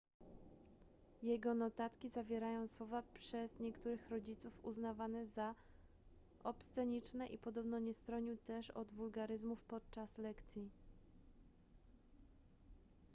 jego notatki zawierają słowa przez niektórych rodziców uznawane za obsceniczne i podobno nie stronił też od wulgaryzmów podczas lekcji